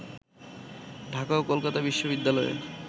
ঢাকা ও কলকাতা বিশ্ববিদ্যালয়ের